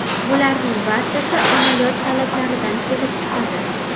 Bularning barchasi amaliyot talablaridan kelib chiqadi.